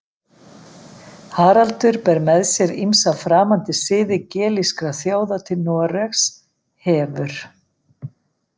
Haraldur ber með sér ýmsa framandi siði gelískra þjóða til Noregs, hefur